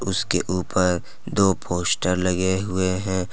उसके ऊपर दो पोस्टर लगे हुए हैं।